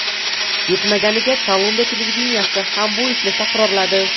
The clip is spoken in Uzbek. Yetmaganiga, Kolumbiya televideniyesi ham bu ishni takrorladi.